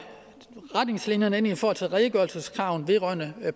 retningslinjerne ind i forhold til redegørelseskravene vedrørende